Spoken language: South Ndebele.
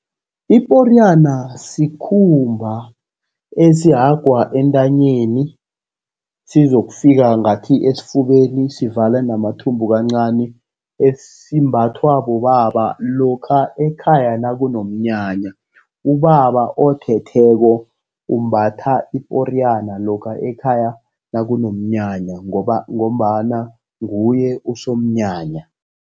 Iporiyana sikhumba esihagwa entanyeni, sizokufika ngathi esifubeni, sivale namathumbu kancani, esimbathwa bobaba lokha ekhaya nakunomnyanya. Ubaba othetheko umbatha iporiyana lokha ekhaya nakunomnyanya, ngoba ngombana nguye usomnyanya.